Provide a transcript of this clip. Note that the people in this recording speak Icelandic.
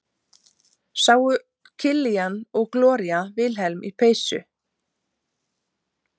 sáu killian og gloría vilhelm í peysu